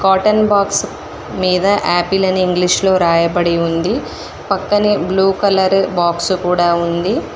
Cotton box మీద apple అని English లో రాయబడి ఉంది పక్కనే బ్లూ కలరు బాక్సు కూడా ఉంది.